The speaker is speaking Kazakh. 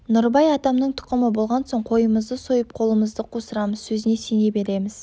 нұрыбай атамның тұқымы болған соң қойымызды сойып қолымызды қусырамыз сөзіне сене береміз